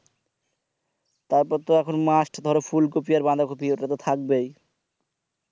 তারপরে তো এখন must ধরো ফুলকপি আর বাধা কপি ওটা তো থাকবেই